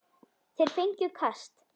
Þeir fengju kast!